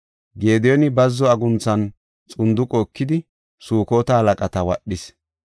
Gediyooni bazzo agunthinne xunduqe ekidi Sukota halaqata wadhis.